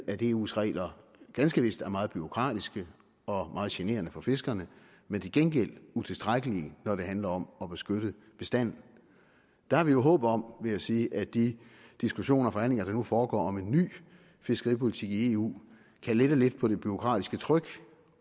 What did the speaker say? at eus regler ganske vist er meget bureaukratiske og meget generende for fiskerne men til gengæld utilstrækkelige når det handler om at beskytte bestanden der har vi jo håb om vil jeg sige at de diskussioner og forhandlinger der nu foregår om en ny fiskeripolitik i eu kan lette lidt på det bureaukratiske tryk